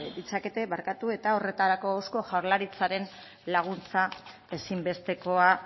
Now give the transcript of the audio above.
ditzakete eta horretarako eusko jaurlaritzaren laguntza ezin bestekoa